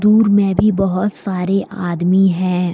दुर मे भी बहोत सारे आदमी है।